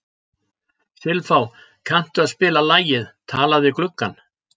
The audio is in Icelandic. Silfá, kanntu að spila lagið „Talað við gluggann“?